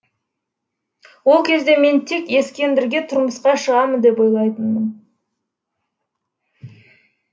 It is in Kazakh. ол кезде мен тек ескендірге тұрмысқа шығамын деп ойлайтынмын